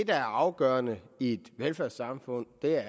er afgørende i et velfærdssamfund er